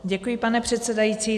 Děkuji, pane předsedající.